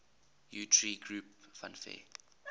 utari groups fanfare